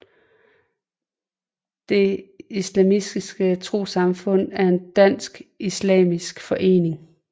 Det Islamiske Trossamfund er en dansk islamisk forening